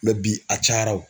bi a cayara o.